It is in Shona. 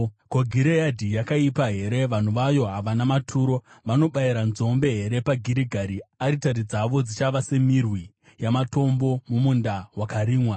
Ko, Gireadhi yakaipa here? Vanhu vayo havana maturo! Vanobayira nzombe here paGirigari? Aritari dzavo dzichava semirwi yamatombo mumunda wakarimwa.